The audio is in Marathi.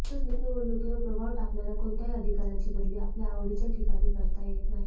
तसंच निवडणुकीवर प्रभाव टाकणाऱ्या कोणत्याही अधिकाऱ्याची बदली आपल्या आवडीच्या ठिकाणी करता येत नाही